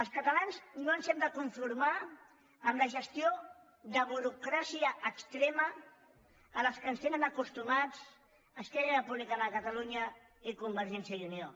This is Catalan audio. els catalans no ens hem de conformar amb la gestió de burocràcia extrema a què ens tenen acostumats esquerra republicana de catalunya i convergència i unió